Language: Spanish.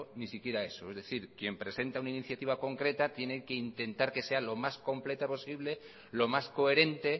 ni siquiera eso es decir quien presenta una iniciativa concreta tiene que intentar que sea lo más completa posible lo más coherente